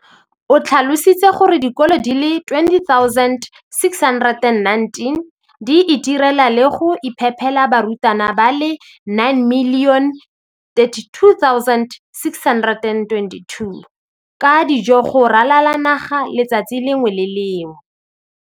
O tlhalositse gore dikolo di le 20 619 di itirela le go iphepela barutwana ba le 9 032 622 ka dijo go ralala naga letsatsi le lengwe le le lengwe.